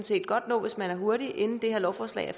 set godt nå hvis man er hurtig inden det her lovforslag